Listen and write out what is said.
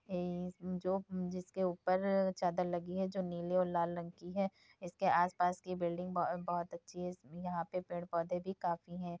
ए -जो जिसके ऊपर चादर लगी है जो नीले और लाल रंग की है इसके आसपास की बिल्डिंग बहो -बहोत अच्छी हैं यहा पे पेड़ पौधे भी काफी हैं।